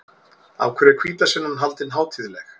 Af hverju er hvítasunnan haldin hátíðleg?